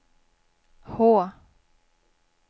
H